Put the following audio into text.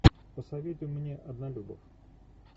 посоветуй мне однолюбов